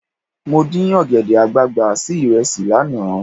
Mo dín ọ̀gẹ̀dẹ̀ àgbààgbà sí ìrẹsì lánàá.